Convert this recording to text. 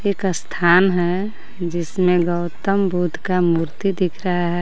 एक स्थान हे जिसमे गौतम बुद्ध का मूर्ति दिख रहा हे.